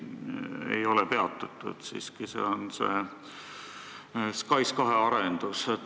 See on SKAIS2 arendus.